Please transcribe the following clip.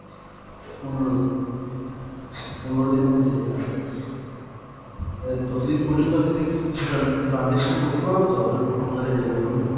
পনেরো, আচ্ছা পনেরো দিনের মধ্যে আচ্ছা। অ্যাঁ ততদিন পর্যন্ত আমি যদি transaction করতে পারবো তো আপনার আপনাদের এই account এ?